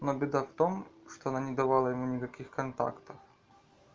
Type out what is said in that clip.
но беда в том что она не давала ему никаких контактов